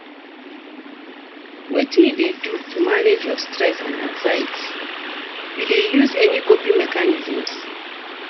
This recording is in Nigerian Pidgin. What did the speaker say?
Wetin you dey do to manage your stress and anxiety, you dey use any coping mechanisms?